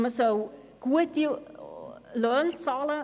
Man soll gute Löhne bezahlen;